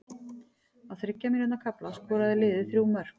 Á þriggja mínútna kafla skoraði liðið þrjú mörk.